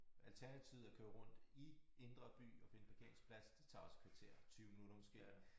Alternativet er at køre rundt i indre by og finde parkeringsplads det tager også et kvarter 20 minutter måske